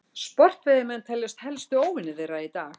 sportveiðimenn teljast helstu óvinir þeirra í dag